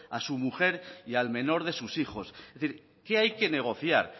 a su mujer y al menor de sus hijos es decir qué hay que negociar